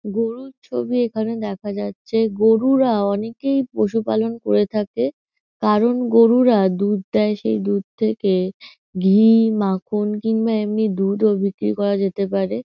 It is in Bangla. গরুর ছবি এখানে দেখা যাচ্ছে। গরুরা অনেকেই পশুপালন করে থাকে কারণ গরুরা দুধ দেয় সেই দুধ থেকে ঘী মাখন কিংবা এমনি দুধও বিক্রি করা যেতে পারে।